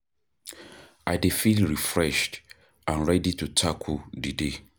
I Dey feel refreshed and ready to tackle the day